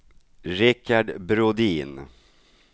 Richard Brodin